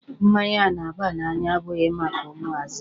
Mmanya na-aba n'anya abụghị maka ụmụazị.